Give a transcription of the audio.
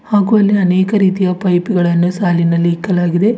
ಹಾಗು ಅಲ್ಲಿ ಅನೇಕ ರೀತಿಯ ಪೈಪ್ ಗಳನ್ನು ಸಾಲಿನಲ್ಲಿ ಇಕ್ಕಲಾಗಿದೆ.